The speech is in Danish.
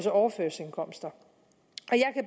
overførselsindkomster